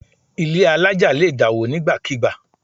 Ilé àlája lè dá wo ni nígbàkigbà